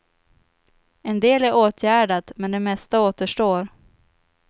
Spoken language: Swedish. En del är åtgärdat, men det mesta återstår.